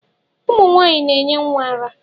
Ụmụ nwaanyị na-enye nwa ara.